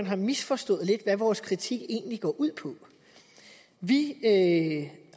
har misforstået hvad vores kritik egentlig går ud på vi